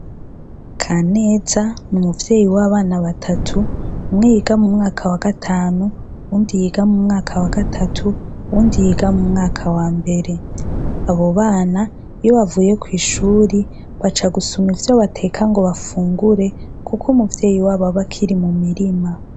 Kaneza ni umuvyeyi w' abana batatu umwe yiga mumwaka wa gatanu uwundi yiga mumwaka wa gatatu uwundi yiga mumwaka wambere abo bana iyo bavuye kwishure baca gusuma ivyo bateka ngo bafungure kuko umuvyeyi wabo aba akiri mumirima